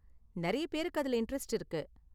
நிறைய பேருக்கு அதுல இண்டரெஸ்ட் இருக்கு.